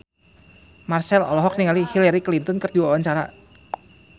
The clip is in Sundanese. Marchell olohok ningali Hillary Clinton keur diwawancara